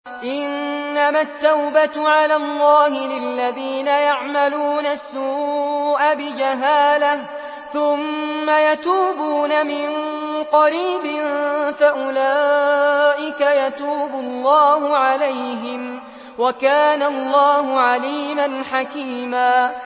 إِنَّمَا التَّوْبَةُ عَلَى اللَّهِ لِلَّذِينَ يَعْمَلُونَ السُّوءَ بِجَهَالَةٍ ثُمَّ يَتُوبُونَ مِن قَرِيبٍ فَأُولَٰئِكَ يَتُوبُ اللَّهُ عَلَيْهِمْ ۗ وَكَانَ اللَّهُ عَلِيمًا حَكِيمًا